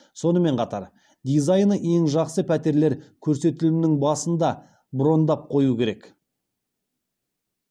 сонымен қатар дизайні ең жақсы пәтерлер көрсетілімнің басында брондап қою керек